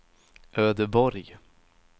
Ödeborg